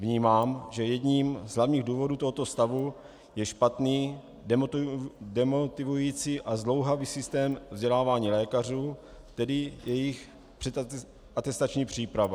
Vnímám, že jedním z hlavních důvodů tohoto stavu je špatný, demotivující a zdlouhavý systém vzdělávání lékařů, tedy jejich předatestační příprava.